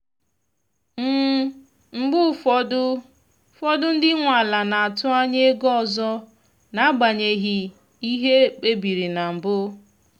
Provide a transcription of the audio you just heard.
mgbe ụfọdụ fọdụ ndị nwe ala na-atụ anya ego ọzọ n’agbanyeghị ihe ekpe biri na mbụ.